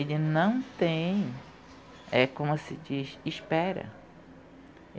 Ele não tem, é como se diz, espera.